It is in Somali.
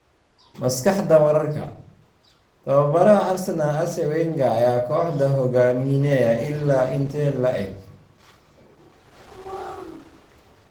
Maskaxda Wararka: Tababaraha Arsenal, Arsene Wenger ayaa kooxda hogaaminaya ilaa intee la eg?